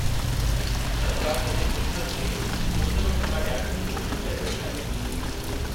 सरकार सॼे मुल्क खे मुफ़्त में टुका ॾियारण जी कोशिश करे रही आहे।